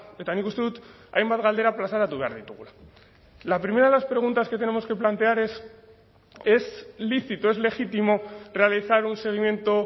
eta nik uste dut hainbat galdera plazaratu behar ditugula la primera de las preguntas que tenemos que plantear es es lícito es legítimo realizar un seguimiento